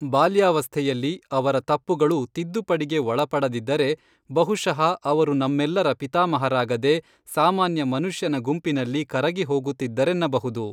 ಬಾಲ್ಯಾವಸ್ಥೆಯಲ್ಲಿ ಅವರ ತಪ್ಪುಗಳು ತಿದ್ದುಪಡಿಗೆ ಒಳಪಡದಿದ್ದರೆ, ಬಹುಶಃ ಅವರು ನಮ್ಮೆಲ್ಲರ ಪೀತಾಮಹಾರಾಗದೆ ಸಾಮಾನ್ಯ ಮನುಷ್ಯನ ಗುಂಪಿನಲ್ಲಿ ಕರಗಿ ಹೋಗುತ್ತಿದ್ದರೆನ್ನಬಹುದು.